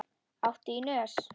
Áttu í nös?